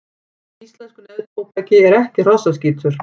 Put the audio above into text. Í íslensku neftóbaki er ekki hrossaskítur.